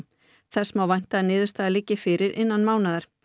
þess má vænta að niðurstaða liggi fyrir innan mánaðar